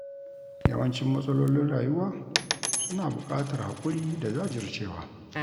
Yawancin matsalolin rayuwa suna buƙatar haƙuri da jajircewa.